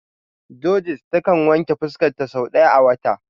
Judith ta kan wanke fuska ta sau daya a wata.